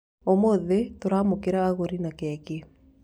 Ũmũthĩ tũramũkĩra agũri na keki.